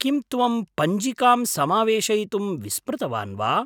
किं त्वं पञ्जिकां समावेशयितुं विस्मृतवान् वा?